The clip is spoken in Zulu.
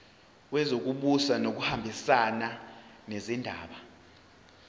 wezokubusa ngokubambisana nezindaba